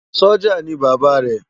Sójá ni Baba rè